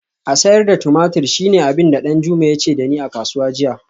A sayar da tumatur shine abin da Danjuma ya ce da ni a kasuwa jiya